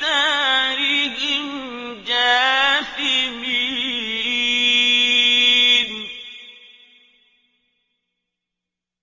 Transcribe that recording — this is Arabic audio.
دَارِهِمْ جَاثِمِينَ